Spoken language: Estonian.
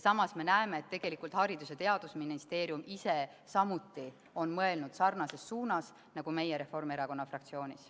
Samas me näeme, et tegelikult on Haridus- ja Teadusministeerium samuti mõelnud sarnases suunas nagu meie Reformierakonna fraktsioonis.